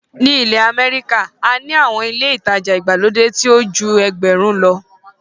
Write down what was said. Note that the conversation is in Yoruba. Ní ilẹ̀ Amẹ́ríkà, a ní àwọn ilé ìtajà ìgbàlódé ńlá tí ó ju ẹgbẹ̀rún lọ.